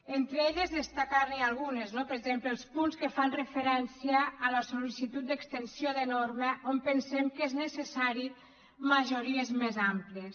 entre elles destacar ne algunes per exemple els punts que fan referència a la sol·d’extensió de norma on pensem que és necessari majories més àmplies